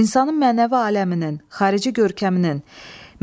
İnsanın mənəvi aləminin, xarici görkəminin,